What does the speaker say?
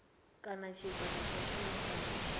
kana tshigwada tsha tshumisano tsha